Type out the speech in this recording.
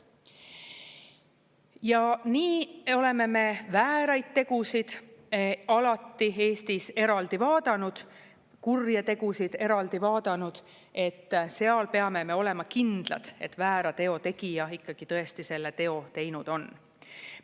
Ja nii oleme me vääraid tegusid alati Eestis eraldi vaadanud, kurje tegusid eraldi vaadanud, seal peame me olema kindlad, et väära teo tegija ikkagi tõesti selle teo teinud on.